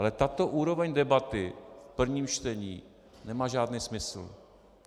Ale tato úroveň debaty v prvním čtení nemá žádný smysl.